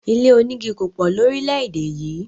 Ilé omígi kòpò lóríléédè yì